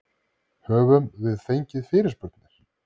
Höfum við fengið fyrirspurnir?